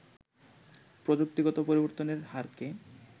প্রযুক্তিগত পরিবর্তনের হারকে